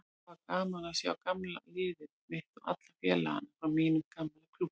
Það var gaman að sjá gamla liðið mitt og alla félagana frá mínum gamla klúbbi.